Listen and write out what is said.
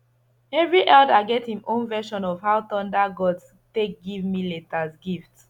every elder get him own version of how thunder gods take give millet as gift